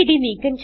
STD